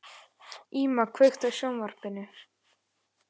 Íma, kveiktu á sjónvarpinu.